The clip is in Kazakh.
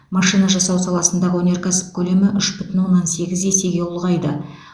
машина жасау саласындағы өнеркәсіп көлемі үш бүтін оннан сегіз есеге ұлғайды